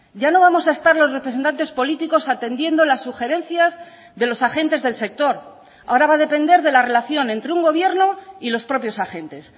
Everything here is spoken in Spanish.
ya no vamos a estar los representantes políticos atendiendo las sugerencias de los agentes del sector ahora va a depender de la relación entre un gobierno y los propios agentes